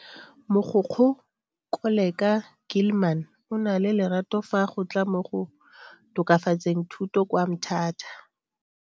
Mogokgo Koleka Gilman o na le lerato fa go tla mo go tokafatseng thuto kwa Mthatha.